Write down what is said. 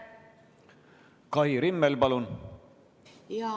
Kai Rimmel, palun!